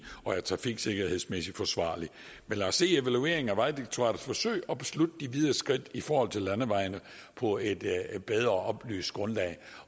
og er trafiksikkerhedsmæssigt forsvarligt men lad os se evalueringen af vejdirektoratets forsøg og beslutte de videre skridt i forhold til landevejene på et bedre og oplyst grundlag